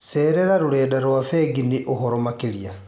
Cerera rũrenda rwa bengi nĩ ũhoro makĩria.